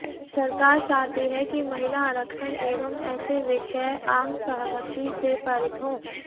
सरकार चाहती है कि महिला आरक्षण एवं ऐसे विषय आमसहमति से पारित हों